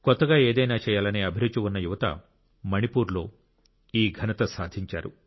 కొత్తగా ఏదైనా చేయాలనే అభిరుచి ఉన్న యువత మణిపూర్లో ఈ ఘనత సాధించారు